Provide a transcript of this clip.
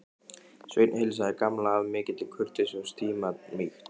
Sveinn heilsaði Gamla af mikilli kurteisi og stimamýkt.